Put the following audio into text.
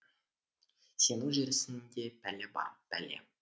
сенің жүрісіңде пәле бар пәле